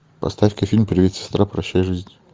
поставь ка фильм привет сестра прощай жизнь